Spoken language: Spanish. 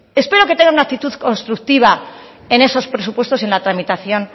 espero que tenga una actitud constructiva en esos presupuestos en la tramitación